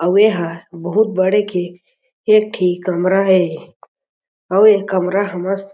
अउ ए ह बहुत बड़े के एक ठी कमरा हे अउ ए कमरा हमर --